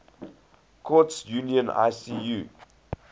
courts union icu